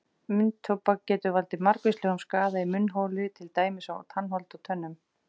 Munntóbak getur valdið margvíslegum skaða í munnholi til dæmis á tannholdi og tönnum.